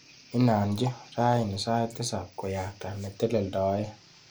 Inanchi rani sait tisap koyakta neteleldoe.